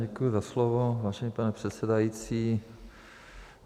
Děkuji za slovo, vážený pane předsedající.